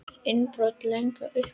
Innbrot í Lundann upplýst